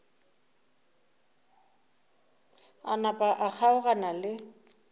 a napa a kgaogana le